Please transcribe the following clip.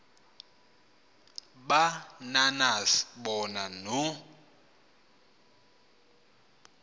ba nanas bonanno